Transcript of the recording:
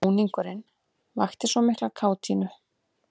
Búningurinn vakti svo mikla kátínu.